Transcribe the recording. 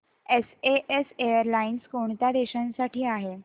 SAS airlines कोणत्या देशांसाठी आहे